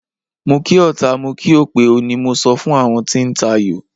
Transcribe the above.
Mo kí ọta, mo kí òpè o, ni mo sọ fún àwọn tí ń tayò.